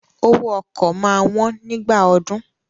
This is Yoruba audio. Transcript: Owó ọkọ̀ máa wón nígbà ọdún.